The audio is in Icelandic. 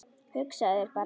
Hugsaðu þér bara!